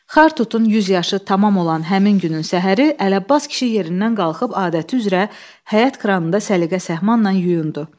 Xartutun 100 yaşı tamam olan həmin günün səhəri Ələbbas kişi yerindən qalxıb adəti üzrə həyət kranında səliqə-səhmanla yuyundu.